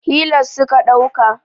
hilus suka dauka